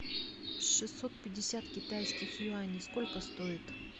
шестьсот пятьдесят китайских юаней сколько стоит